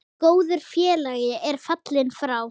Góður félagi er fallinn frá.